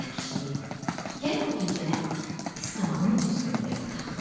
Ay kişi, gəl bu gecə biz samanun üstündə yataq.